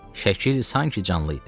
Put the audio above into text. Şəkil sanki canlı idi.